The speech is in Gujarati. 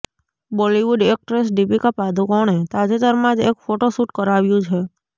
બોલીવુડ એક્ટ્રેસ દીપિકા પાદુકોણે તાજેતરમાં જ એક ફોટો શૂટ કરાવ્યું છે